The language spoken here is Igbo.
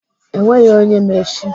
Enweghị onye ma echi.